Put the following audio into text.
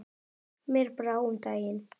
Mér brá um daginn.